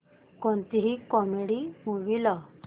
कोणतीही comedy movie लाव